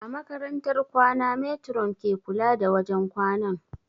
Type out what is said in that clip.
A makarantar kwana matron ce ke kula da wajen kwanan